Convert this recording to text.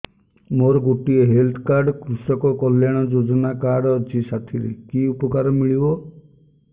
ମୋର ଗୋଟିଏ health card କୃଷକ କଲ୍ୟାଣ ଯୋଜନା କାର୍ଡ ଅଛି ସାଥିରେ କି ଉପକାର ମିଳିବ